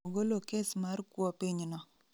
Ogolo kes mar kuo piny no